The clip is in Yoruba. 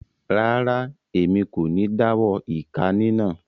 Rara, Èmí kò ní dawọ ika ninà